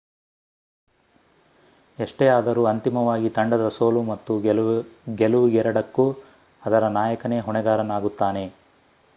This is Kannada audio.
ಎಷ್ಟೇ ಆದರೂ ಅಂತಿಮವಾಗಿ ತಂಡದ ಸೋಲು ಮತ್ತು ಗೆಲುವಿಗೆರಡಕ್ಕೂ ಅದರ ನಾಯಕನೇ ಹೊಣೆಗಾರನಾಗುತ್ತಾನೆ